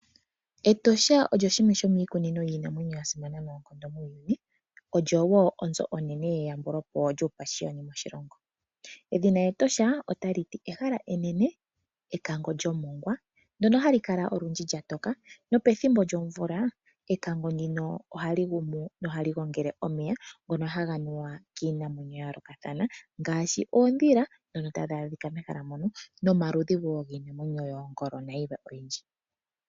Etosha olyo shimwe lyo miikunino yiinamwenyo ya simana noonkondo muuyuni. Olyo wo onzo onene yeyambulopo lyuupashiyoni moshilongo. Edhina Etosha otali ti ehala enene, ekango lyomongwa ndono hali kala olundji lya toka. Nopethimbo lyomvula, ekango ndino ohali gumo nohali gongele omeya ngono haga nuwa kiinamwenyo ya yoolokathana, ngaashi oodhila dhono tadhi adhika mehala mono, nomaludhi wo yiinamwenyo yoongolo nayilwe oyindji.